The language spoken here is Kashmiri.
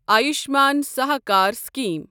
آیوشمان سہاکار سکیٖم